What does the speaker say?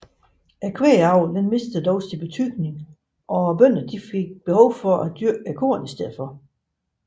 Kvægavlen mistede dog sin betydning og bønderne fik behov for at dyrke korn i stedet